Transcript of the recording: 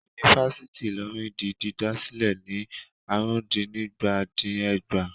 Yunifásítì Ìlọrin di dídá sílẹ̀ ní àrùndínígba-dín-ẹgbàá.